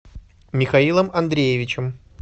михаилом андреевичем